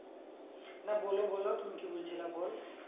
না বললে বলো তুমি কি বলছিলে বল